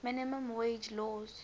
minimum wage laws